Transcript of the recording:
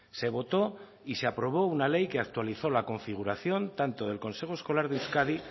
se votó y se aprobó una ley que actualizó la configuración tanto del consejo escolar de euskadi